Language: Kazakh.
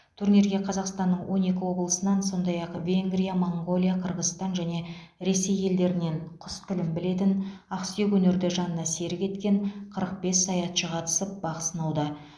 турнирге қазақстанның он екі облысынан сондай ақ венгрия моңғолия қырғызстан және ресей елдерінен құс тілін білетін ақсүйек өнерді жанына серік еткен қырық бес саятшы қатысып бақ сынауда